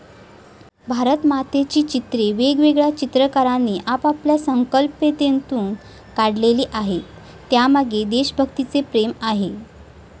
भारतमातेची चित्रे वेगवेगळ्या चित्रकारांनी आपापल्या संकल्पनेतून काढलेली आहेत, त्यामागे देशभक्तीचे प्रेम आहे.